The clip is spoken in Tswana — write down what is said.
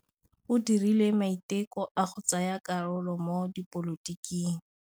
O dirile maitekô a go tsaya karolo mo dipolotiking.